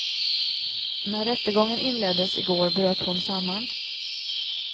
När rättegången inleddes i går bröt hon samman.